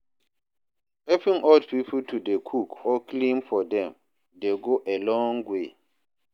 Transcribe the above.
Helping old pipo to dey cook or clean for dem dey go a long way.